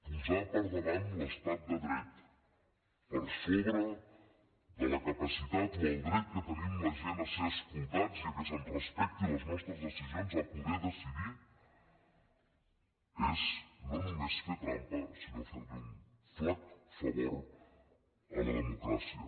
posar per davant l’estat de dret per sobre de la capacitat o el dret que tenim la gent a ser escoltats i que se’ns respectin les nostres decisions a poder decidir és no només fer trampa sinó ferli un flac favor a la democràcia